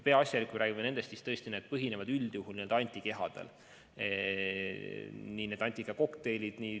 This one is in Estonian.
Peaasjalikult räägime ravimitest, mis põhinevad üldjuhul antikehadel, näiteks need antikehakokteilid.